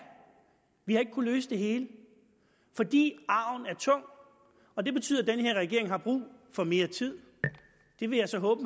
vi har ikke kunnet løse det hele fordi arven er tung og det betyder at den her regering har brug for mere tid det vil jeg så håbe